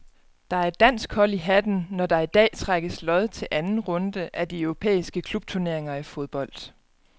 Der er et dansk hold i hatten, når der i dag trækkes lod til anden runde af de europæiske klubturneringer i fodbold.